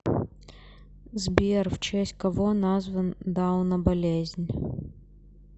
сбер в честь кого назван дауна болезнь